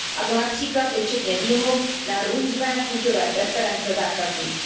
A to například i včetně výmluv na různé chuťové preference zákazníků.